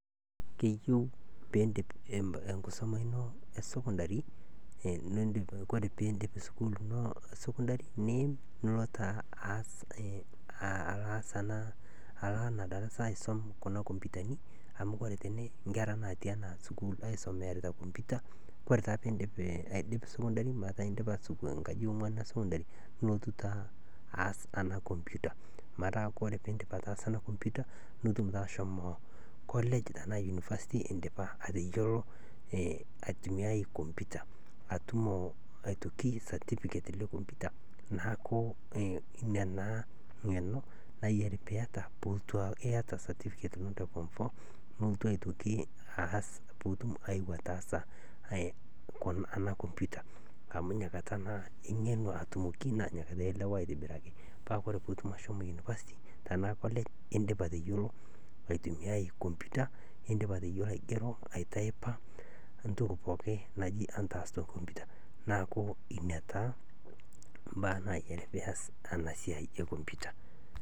Keyieu piindip nkisoma ino e sukundari kore piindip sukundari niim nulo taa Aas ana ako ana darasa aisom computer amu kore tene nkera naatii aisomiyarita computer kore taa piindip sukundari aky indipa nkaji e ong'wan e sukundari nulotu taa aas ana computer metaa kore piindip ataasa ana computer nutum taa ashomo college tanaa university indipa ateyuolo aitumiyai computer atumo aitoki certificate le computer naaku nia naa ng'eno nayiari piiyata niata aitoki certificate le computer naaku inia naa ng'eno nayiari piiyata puulotu aaku iyata certificate le form four puutum ayeu ataasa ana computer amu nia kata naa ing'enu atumoki naa nia kata ielewaa aitobiraki paa kore puutum ashomo university tanaa college indipa ateyuolo aitumiyai computer indipa ateyuolo aigerro aitaipa ntoki naji entaas te computer. Naaku inia taa mbaa naayiari piiass tana siai e computer .